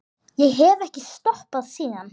Ég hef ekki stoppað síðan.